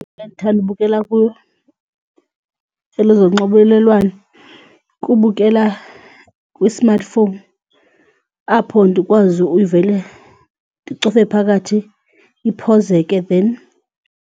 Ngendithanda ubukela elezonxibelelwano kubukela kwi-smartphone apho ndikwazi ukuvele ndicofe phakathi iphozeke then.